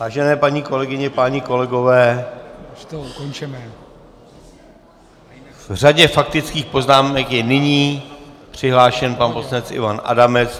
Vážené paní kolegyně, páni kolegové, v řadě faktických poznámek je nyní přihlášen pan poslanec Ivan Adamec.